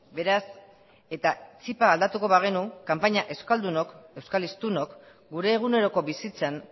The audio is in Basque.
beraz eta txipa aldatuko bagenu kanpaina euskaldunok euskal hiztunok gure eguneroko bizitzan